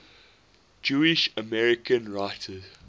jewish american writers